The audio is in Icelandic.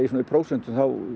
prósentum